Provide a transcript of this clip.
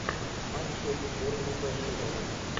матчи борнмута шеффилда